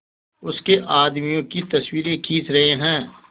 उसके आदमियों की तस्वीरें खींच रहे हैं